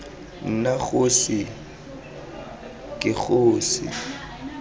nna kgosi ii ke kgosi